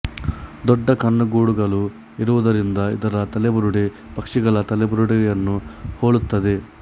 ದೊಡ್ಡ ಕಣ್ಣುಗೂಡುಗಳು ಇರುವುದರಿಂದ ಇದರ ತಲೆಬುರುಡೆ ಪಕ್ಷಿಗಳ ತಲೆಬುರುಡೆಯನ್ನು ಹೋಲುತ್ತದೆ